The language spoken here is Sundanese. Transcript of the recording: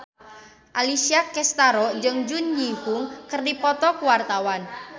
Alessia Cestaro jeung Jun Ji Hyun keur dipoto ku wartawan